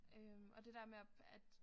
Øh og det med at at